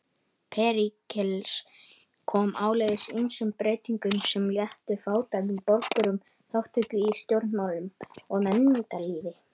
Períkles kom áleiðis ýmsum breytingum sem léttu fátækum borgurum þátttöku í stjórnmálum og menningarlífi.